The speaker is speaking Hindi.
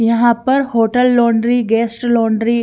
यहाँ पर होटल लॉन्ड्री गेस्ट लॉन्ड्री --